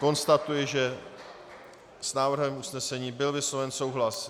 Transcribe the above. Konstatuji, že s návrhem usnesení byl vysloven souhlas.